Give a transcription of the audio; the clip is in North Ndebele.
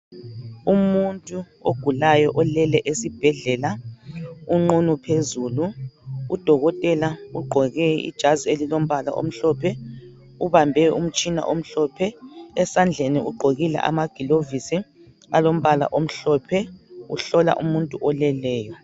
Umuntu ogulayo olele esibhedlela unqunu phezulu udokotela uqgoke ijazi elilombala omhlophe ubambe umtshina omhlophe esandleni uqgokile amagilovisi olombala omhlophe uhlola umuntu oleleyo